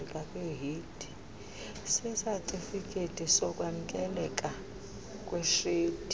sesatifiketi sokwamkeleka kweshedi